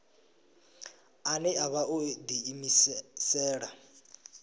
ane a vha o ḓiimisela